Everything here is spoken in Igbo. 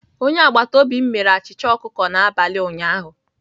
Onye agbata obi m mere achịcha ọkụkọ n'abalị ụnyaahụ